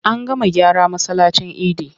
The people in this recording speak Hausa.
An gama gyara masallacin idi.